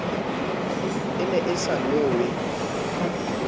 e ne e sa nowe